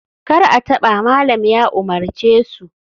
Kar a taba! malam ya umarce su